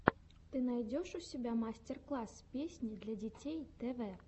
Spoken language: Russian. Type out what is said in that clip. ты найдешь у себя мастер класс песни для детей тв